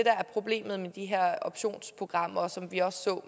er problemet med de her optionsprogrammer som vi også så